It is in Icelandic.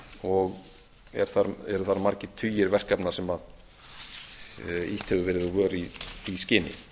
og eru þar margir tugir verkefna sem ýtt hefur verið úr vör í því skyni